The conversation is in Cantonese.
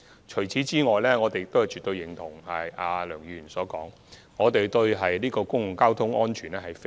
此外，我們絕對認同梁議員所說，我們十分關注公共交通安全。